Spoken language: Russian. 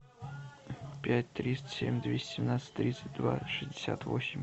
пять триста семь двести семнадцать тридцать два шестьдесят восемь